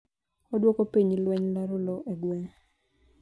Odwoko piny lweny laro lowo e gweng'